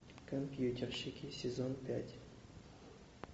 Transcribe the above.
компьютерщики сезон пять